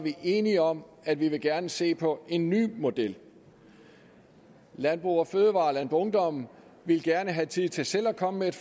enige om at vi gerne vil se på en ny model landbrug fødevarer og landboungdom ville gerne have tid til selv at komme med et